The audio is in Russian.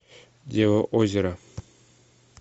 дева озера